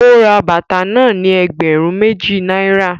O rà bàtà náà ní ẹgbẹrun méjì náírà